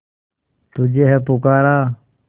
तुझे है पुकारा